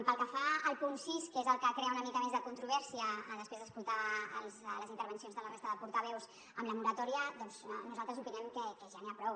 pel que fa al punt sis que és el que crea una mica més de controvèrsia després d’escoltar les intervencions de la resta de portaveus amb la moratòria doncs nosaltres opinem que ja n’hi ha prou